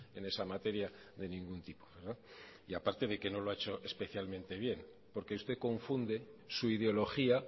en esa materia de ningún tipo y aparte de que no lo ha hecho especialmente bien porque usted confunde su ideología